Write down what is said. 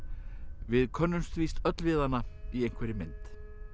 við könnumst víst öll við hana í einhverri mynd